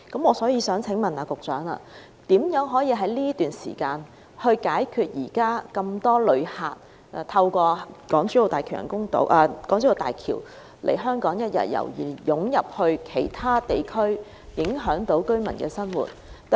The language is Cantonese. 我想請問局長於此段時間，如何解決目前很多旅客通過港珠澳大橋來香港一日遊並湧入其他地區，影響居民生活的問題？